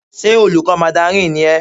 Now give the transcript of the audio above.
Ṣé olùkọ́ mandarin ni ẹ́?